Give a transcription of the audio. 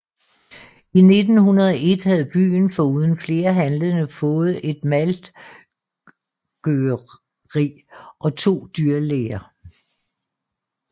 I 1901 havde byen foruden flere handlende fået et maltgøreri og to dyrlæger